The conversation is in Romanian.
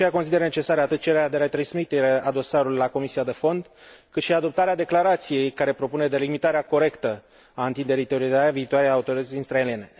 De aceea, consider necesară atât cererea de retransmitere a dosarului la comisia de fond, cât și adoptarea declarației care propune delimitarea corectă a întinderii teritoriale a viitoarei Autorități israeliene.